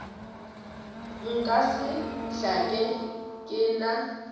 nka se hlake ke na